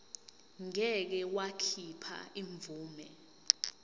ngeke wakhipha imvume